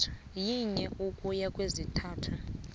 yinye ukuya kwezintathu